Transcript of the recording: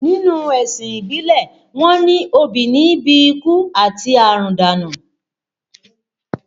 Nínú ẹ̀sìn ìbílẹ̀, wọ́n ní obì níí bi ikú àti àrùn dànù